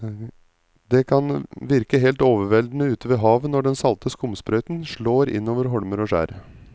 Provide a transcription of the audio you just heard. Det kan virke helt overveldende ute ved havet når den salte skumsprøyten slår innover holmer og skjær.